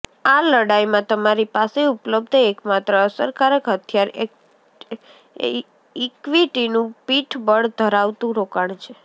આ લડાઈમાં તમારી પાસે ઉપલબ્ધ એકમાત્ર અસરકારક હથિયાર ઇક્વિટીનું પીઠબળ ધરાવતું રોકાણ છે